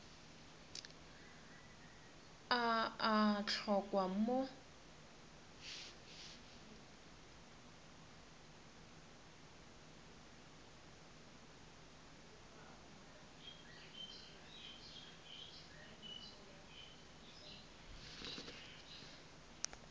a a a hlokwa mo